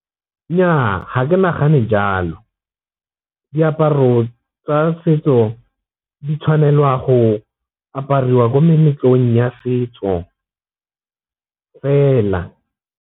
Nnyaa ga ke nagane jalo, diaparo tsa setso di tshwanelwa go apariwa ko meletlong ya setso fela.